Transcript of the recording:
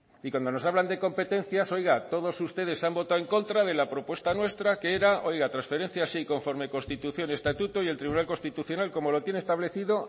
y cuando nos hablan de competencias oiga todos ustedes han votado en contra de la propuesta nuestra que era transferencia sí conforme constitución estatuto y tribunal constitucional como lo tiene establecido